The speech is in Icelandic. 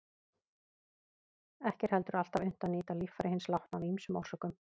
Ekki er heldur alltaf unnt að nýta líffæri hins látna af ýmsum orsökum.